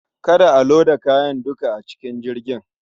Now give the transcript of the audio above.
Kada a loda kayan duka a cikin jirgin.